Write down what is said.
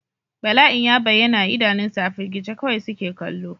Bala'in ya bayyana a idanunsu, a firgice kawai suke kallo.